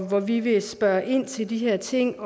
hvor vi vil spørge ind til de her ting